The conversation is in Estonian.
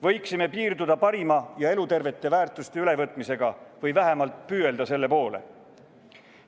Võiksime piirduda parima ja elutervete väärtuste ülevõtmisega või vähemalt püüelda selle poole.